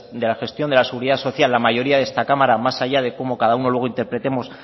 de la gestión de la seguridad social la mayoría de esta cámara más allá de cómo cada uno luego interpretemos